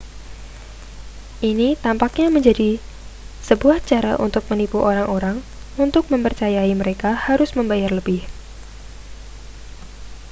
ini tampaknya lebih menjadi sebuah cara untuk menipu orang-orang untuk memercayai mereka harus membayar lebih